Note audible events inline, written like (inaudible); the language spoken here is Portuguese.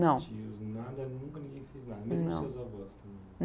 Não. (unintelligible) Nada nunca ninguém fez nada, não nem seus avós também?